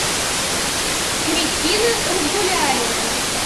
кристина разгуляева